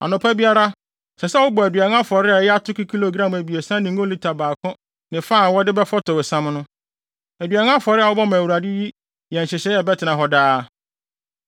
Anɔpa biara ɛsɛ sɛ wobɔ aduan afɔre a ɛyɛ atoko kilogram abiɛsa ne ngo lita baako ne fa a wɔde bɛfɔtɔw siam no. Aduan afɔre a wɔbɔ ma Awurade yi yɛ nhyehyɛe a ɛbɛtena hɔ daa.